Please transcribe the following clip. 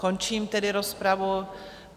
Končím tedy rozpravu.